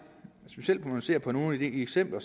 specielt når vi ser på nogle af de eksempler